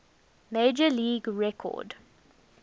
major league record